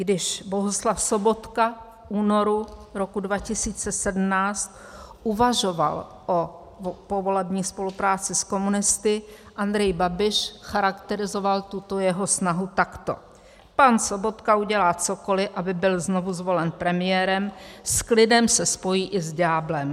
Když Bohuslav Sobotka v únoru roku 2017 uvažoval o povolební spolupráci s komunisty, Andrej Babiš charakterizoval tuto jeho snahu takto: Pan Sobotka udělá cokoliv, aby byl znovu zvolen premiérem, s klidem se spojí i s ďáblem.